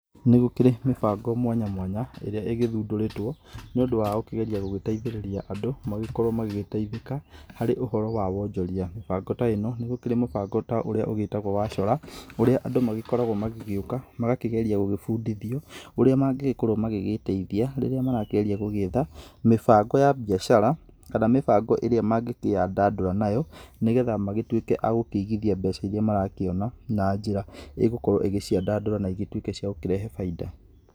Nĩgũkĩrĩ mĩbango mwanya mwanya, ĩrĩa ĩgĩthundũrĩtwo, nĩũndũ wa gũkĩgeria gũteithĩrĩria andũ, magĩkorwo magĩteithĩka harĩ ũhoro wa wonjoria. Mĩbango ta ĩ no nĩ gũkĩrĩ mũbango ta ũrĩa wĩtagwo wa Chora, ũrĩa andũ magĩkoragwo magĩũka, magakĩgeria gũgĩbundithio ũrĩa mangĩkorwo magĩteithia rĩrĩa marakĩgeria gwetha mĩbango ya biacara kana mĩbango ĩrĩa mangĩkĩyandandũra nayo nĩgetha magĩtuĩke agũkĩigithia mbeca ĩrĩa marakĩona na njĩra ĩgũkorwo igĩciandandũra na igĩtuĩke cia gũkĩrehe bainda.